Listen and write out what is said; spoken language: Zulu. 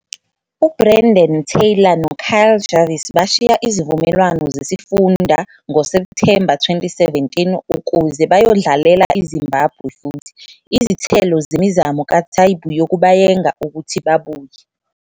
UBrendan Taylor noKyle Jarvis bashiya izivumelwano zesifunda ngoSepthemba 2017 ukuze bayodlalela iZimbabwe futhi, izithelo zemizamo kaTaibu yokubayenga ukuthi babuye.